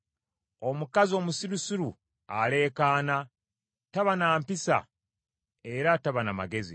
Omukazi omusirusiru aleekaana, taba na mpisa era taba na magezi!